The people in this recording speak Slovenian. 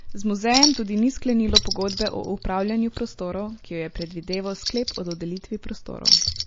Z muzejem tudi ni sklenilo pogodbe o upravljanju prostorov, ki jo je predvideval sklep o dodelitvi prostorov.